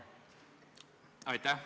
Aitäh!